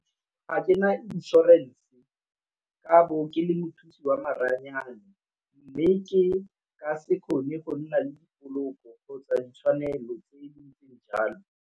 Ga ke na inšorense, ka bo ke le mothusi wa maranyane. Mme ke ka se kgone go nna le dipoloko kgotsa ditshwanelo tse di ntseng jalo.